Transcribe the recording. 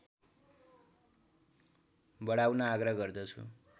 बढाउन आग्रह गर्दछु